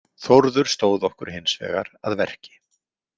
Þórður stóð okkur hins vegar að verki.